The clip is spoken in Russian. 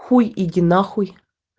хуй иди нахуй